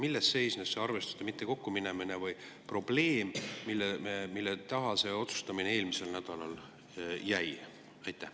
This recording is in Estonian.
Selgitage, milles seisnes see arvestuste mittekokkuminemine või probleem, mille taha see otsustamine eelmisel nädalal jäi.